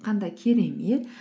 қандай керемет